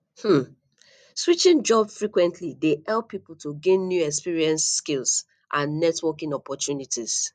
um switching jobs frequently dey help people to gain new experiences skills and networking opportunities